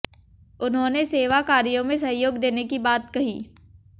उन्होंने सेवा कार्यों में सहयोग देने की बात कही